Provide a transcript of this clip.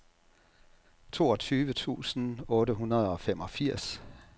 toogtyve tusind otte hundrede og femogfirs